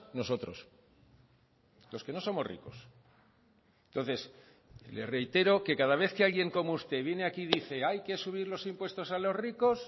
nosotros los que no somos ricos entonces le reitero que cada vez que alguien como usted viene aquí y dice hay que subir los impuestos a los ricos